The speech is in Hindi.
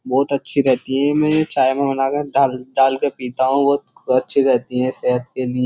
बहुत अच्छी रहती है मैं ये चाय में बनाकर डाल डाल के पीता हूं बहुत अच्छी रहती है सेहत के लिए --